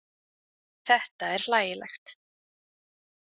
Þetta er hlægilegt.